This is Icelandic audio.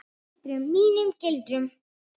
Mínum gildum.